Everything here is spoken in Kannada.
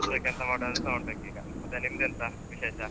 ಮತ್ತೆ ನಿಂದೆಂತ ವಿಶೇಷ?